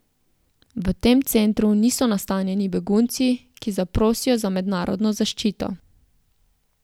V tem centru niso nastanjeni begunci, ki zaprosijo za mednarodno zaščito.